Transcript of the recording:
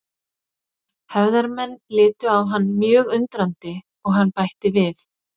Hefðarmenn litu á hann mjög undrandi og hann bætti við